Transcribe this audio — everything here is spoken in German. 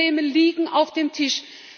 Die Probleme liegen auf dem Tisch.